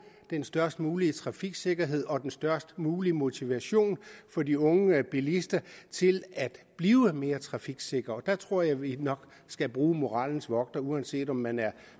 den størst mulige trafiksikkerhed og den størst mulige motivation for de unge bilister til at blive mere trafiksikre og der tror jeg vi nok skal bruge moralens vogter uanset om man er